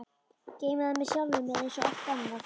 Geymi það með sjálfri mér einsog allt annað.